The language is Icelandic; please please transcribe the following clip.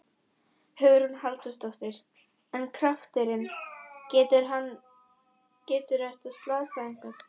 Hugrún Halldórsdóttir: En krafturinn, getur hann, getur þetta slasað einhvern?